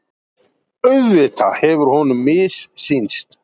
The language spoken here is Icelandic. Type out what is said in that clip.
Auðvitað hefur honum missýnst.